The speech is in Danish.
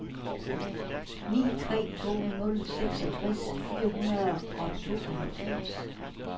ni tre to nul seksogtres fire hundrede og tooghalvfems